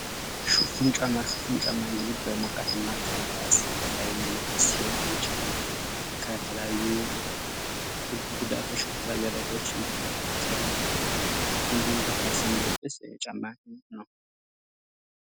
ሽፍን ጫማ፦ ህሽፍን ጫማ እንግድ በሞቃታማ የሚለበስ ሲሆን ይህን ጫማ ከተለያዩ ጉዳቶች፣ ከተለያዩ አደጋወች የሚከላከል ይህም በካልስ የሚለበስ ጫማ ነው።